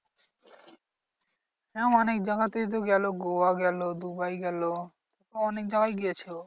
হ্যাঁ ও অনেক জায়গাতেই তো গেলো গোয়া গেলো দুবাই গেলো অনেক জায়গায় গেছে ও।